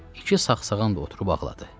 İki sağsağan da oturub ağladı.